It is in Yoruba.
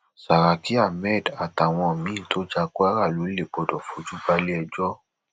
saraki ahmed àtàwọn míín tó ja kwara lọlẹ gbọdọ fojú balẹẹjọ